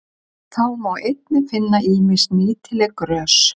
Þá má einnig finna ýmis nýtileg grös.